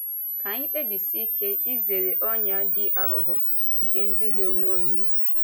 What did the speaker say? Ká anyị kpèbisie ike izere ọnyà dị àghụ̀ghọ̀ nke ịdùhie onwe onye.